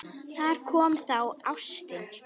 Þarna kom það: Ástin.